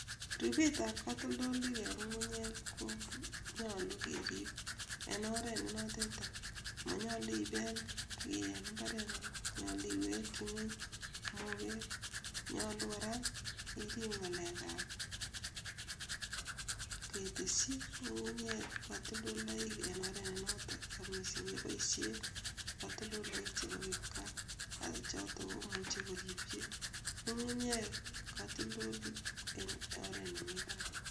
Ripetab katoldolik eng ngunguyek konyolu kerip en oret nenotetai, monyolu ipeel kiiy eng imbarengung , nyolu iwekchi ngweny mopeek, nyolu kora irip ngalekab kiteshi ngungunyek katoldolaik en oret nenoto ak mising kepoishe katoldolaik chebo kipkaa, choto komuchi koripchi ngungunyek katoldolik eng oret nemi barak.